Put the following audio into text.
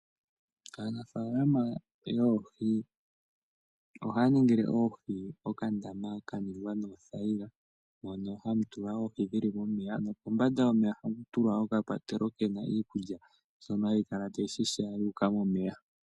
Aanafaalama yoohi ohaya ningile oohi okandama ka ningwa noothaiyila mono hamu tulwa oohi dhi li momeya nokombanda yomeya ohaku tulwa oka kwatelwa ke na iikulya mbyono hayi kala tayi hiha yu uka momeya.